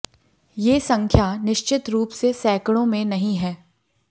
ये संख्या निश्चित रुप से सैंकड़ों में नहीं है